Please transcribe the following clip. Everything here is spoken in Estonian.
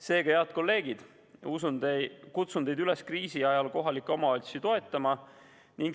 Seega, head kolleegid, kutsun teid üles kriisi ajal kohalikke omavalitsusi toetama.